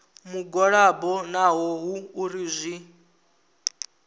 mugwalabo naho hu uri zwi